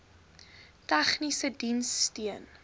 tegniese diens steun